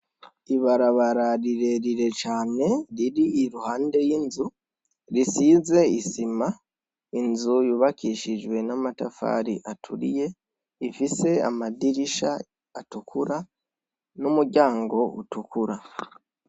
Ibarabara rirerire cyane. riri iruhande y'inzu risize isima inzu yubakishijwe n'amatafari aturiye ifise amadirisha atukura n'umuryango utukura.